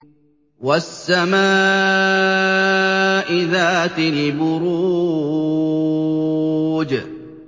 وَالسَّمَاءِ ذَاتِ الْبُرُوجِ